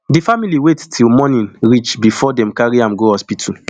di family wait till morning reach bifor dem carry am go hospital